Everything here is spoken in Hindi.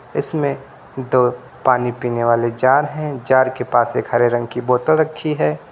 इसमें दो पानी पीने वाले जार हैं जार के पास एक हरे रंग की बोतल रखी है।